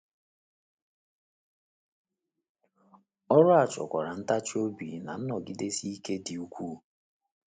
Ọrụ a chọkwara ntachi obi na nnọgidesi ike dị ukwuu.